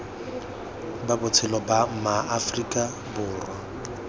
ba botshelo ba maaforika borwa